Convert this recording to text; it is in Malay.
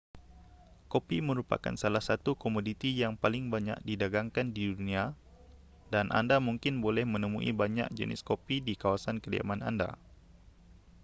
kopi merupakan salah satu komoditi yang paling banyak didagangkan di dunia dan anda mungkin boleh menemui banyak jenis kopi di kawasan kediaman anda